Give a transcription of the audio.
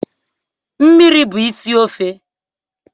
Mmiri bụ isi ofe